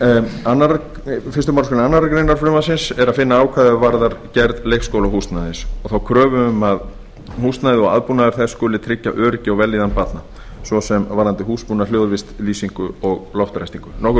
tólftu greinar frumvarpsins er að finna ákvæði er varðar gerð leikskólahúsnæðis og þá kröfu um að húsnæðið og aðbúnaður þess skuli tryggja öryggi og vellíðan barna svo sem varðandi húsbúnað hljóðvist lýsingu og loftræstingu nokkur